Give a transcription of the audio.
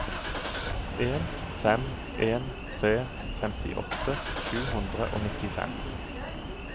en fem en tre femtiåtte sju hundre og nittifem